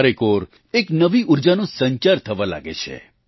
ચારેકોર એક નવી ઊર્જાનો સંચાર થવા લાગે છે